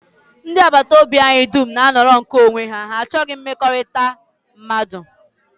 Ndị agbataobi anyị dum na-anọrọ nke onwe ha, ha achọghị mmekọrịta mmadụ